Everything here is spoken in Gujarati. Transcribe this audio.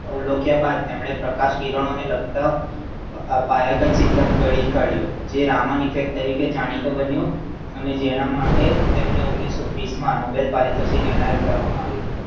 અવ્લોકીયા બાદ એમણે પ્રકાશ કીરણો ને લગતા આ પડી કાઢ્યું તે રાવન effect તરીકે જાણીતું બન્યું અને જેના માટે તેને ઓગણીસો ત્રીસમાં mobile પારીતોસિક એનાયત કરવામાં આવ્યુ.